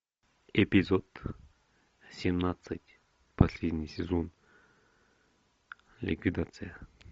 эпизод семнадцать последний сезон ликвидация